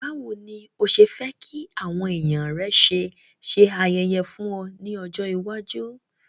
Bàwoni ni o se fe ki àwon èyàn rẹ ṣe se ayẹyẹ fún o ni ọjọ̀ iwájú.